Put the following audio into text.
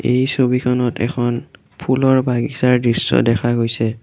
এই ছবিখনত এখন ফুলৰ বাগিচাৰ দৃশ্য দেখা গৈছে।